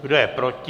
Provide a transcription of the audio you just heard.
Kdo je proti?